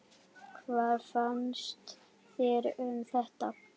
Hvað finnst þér um þetta?